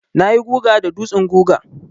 Na yi guga da dutsen guga.